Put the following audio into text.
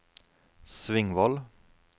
Svingvoll